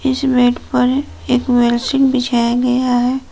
इस बेड पर एक बेड शीट बिछाया गया है।